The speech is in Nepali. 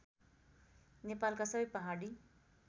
नेपालका सबै पहाडी